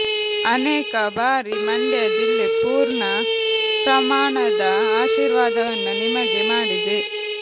ಅನೇಕ ಬಾರಿ ಮಂಡ್ಯ ಜಿಲ್ಲೆ ಪೂರ್ಣ ಪ್ರಮಾಣದ ಆಶೀರ್ವಾದವನ್ನು ನಿಮಗೆ ಮಾಡಿದೆ